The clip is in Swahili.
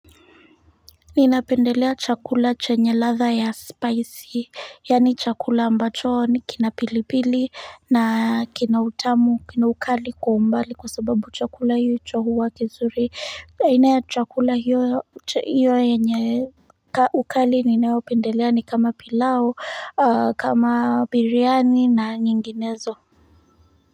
Ninapendelea chakula chenye ladha ya spicy yani chakula ambacho ni kina pilipili na kina utamu kina ukali kwa umbali kwa sababu chakula hicho huwa kizuri aina ya chakula hiyo yenye ukali ninayo pendelea ni kama pilau kama biryani na nyinginezo.